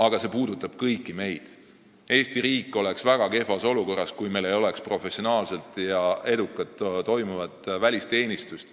Aga see puudutab meid kõiki – Eesti riik oleks väga kehvas olukorras, kui meil ei oleks professionaalset, edukat ja toimivat välisteenistust.